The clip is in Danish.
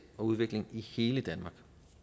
og udvikling i hele danmark